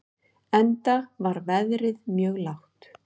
Enda var verðið mjög lágt.